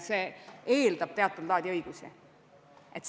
See eeldab teatud laadi õigusi.